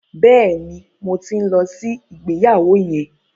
Bẹ́ẹ̀ni, mo ti ń lọ sí ìgbéyàwó yẹn.